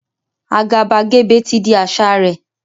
Àgàbàgebè ti di àṣà rẹ̀